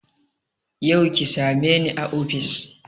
Yau ki same ni a ofis